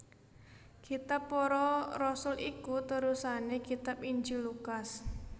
Kitab Para Rasul iku terusané kitab Injil Lukas